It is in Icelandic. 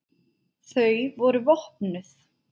Þau voru vopnuð.